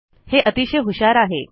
हे अतिशय हुशार आहे